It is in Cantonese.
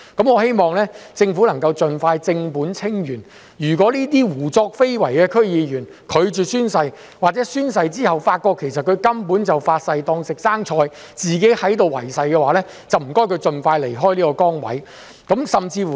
我希望政府能夠盡快正本清源，如果這些胡作非為的區議員拒絕宣誓，或者宣誓後發現他們其實根本是"發誓當食生菜"、有違誓情況的話，那便請他們盡快離開這個崗位。